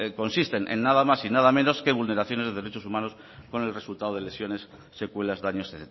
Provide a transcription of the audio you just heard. consisten en nada más u nada menos que vulneraciones de derechos humanos con el resultado de lesiones secuelas daños